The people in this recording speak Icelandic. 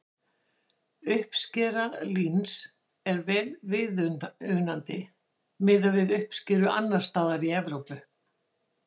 Uppskera líns er vel viðunandi miðað við uppskeru annars staðar í Evrópu.